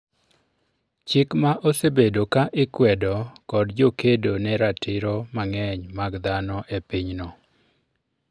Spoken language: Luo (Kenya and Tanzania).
chik ma osebedo ka ikwedo kod jokedo ne ratiro mang'eny mag dhano epinyno